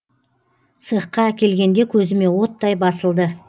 цехқа әкелгенде көзіме оттай басылды